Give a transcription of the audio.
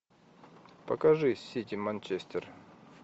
покажи сити манчестер